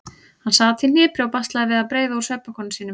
Hann sat í hnipri og baslaði við að breiða úr svefnpokanum sínum.